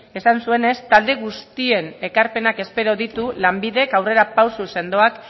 esan zuenez talde guztien ekarpenak espero ditu lanbidek aurrera pausu sendoak